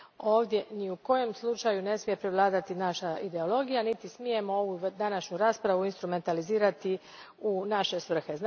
Ovdje ni u kojem slučaju ne smije prevladati naša ideologija, niti smijemo ovu današnju raspravu instrumentalizirati u naše svrhe.